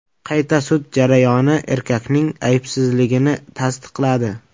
Qayta sud jarayoni erkakning aybsizligini tasdiqladi.